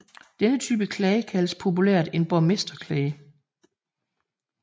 Denne type klage kaldes populært en borgmesterklage